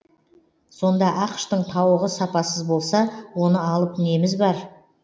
сонда ақш тың тауығы сапасыз болса оны алып неміз бар